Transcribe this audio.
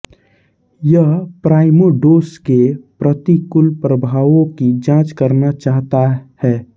यह प्राइमोडोस के प्रतिकूल प्रभावों की जांच करना चाहता ह